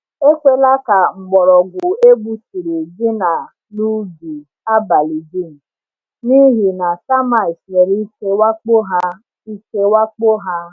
Ekwela ka mgbọrọgwụ egbuturu dina n’ubi abalị dum, n’ihi na termites nwere ike wakpo ha. ike wakpo ha.